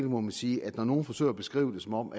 må man sige at når nogen forsøger at beskrive det som om